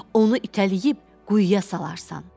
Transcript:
Onu itələyib quyuya salarsan.